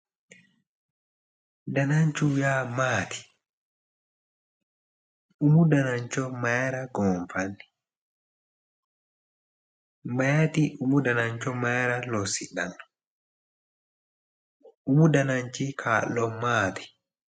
Dananchu yaa maati umu danancho mayra goonfanni mayti umu danancho mayra lossidhanno umu dananchi kaa'lo maati